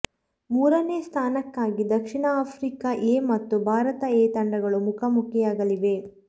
ಮೂರನೇ ಸ್ಥಾನಕ್ಕಾಗಿ ದಕ್ಷಿಣ ಆಫ್ರಿಕಾ ಎ ಮತ್ತು ಭಾರತ ಎ ತಂಡಗಳು ಮುಖಾಮುಖಿಯಾಗಲಿವೆ